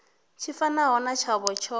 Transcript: tshi fanaho na tshavho tsho